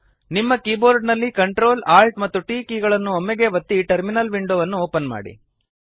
ನಿಮ್ಮ ಕೀಬೋರ್ಡ ನಲ್ಲಿ Ctrl Alt ಮತ್ತು T ಕೀ ಗಳನ್ನು ಒಮ್ಮೆಗೇ ಒತ್ತಿ ಟರ್ಮಿನಲ್ ವಿಂಡೊ ಅನ್ನು ಓಪನ್ ಮಾಡಿ